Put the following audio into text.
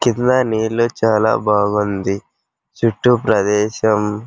క్రింద నీళ్ళు చాలా బాగుంది. చుట్టూ ప్రదేశం --